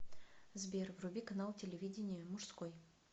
сбер вруби канал телевидения мужской